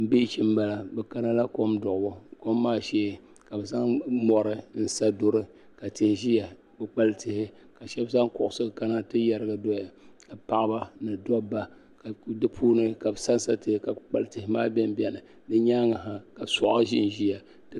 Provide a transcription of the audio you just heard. Paɣaba ni dabba n zaya wori waa ka shɛba ziya ka timpana zɛ bi tooni paɣaba maa shɛba yɛla ban wuɣi bi bɔɣiri bipuɣun bili so bɛ bi puuni o yiɛla liiga dozim ka so jinjɛm piɛli.